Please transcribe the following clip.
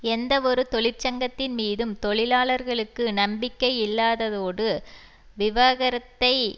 எந்தவொரு தொழிற்சங்கத்தின் மீதும் தொழிலாளர்களுக்கு நம்பிக்கை இல்லாததோடு விவகரத்தை